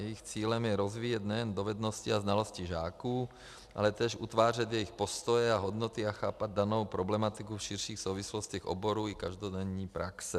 Jejich cílem je rozvíjet nejen dovednosti a znalosti žáků, ale též utvářet jejich postoje a hodnoty a chápat danou problematiku v širších souvislostech oborů i každodenní praxe.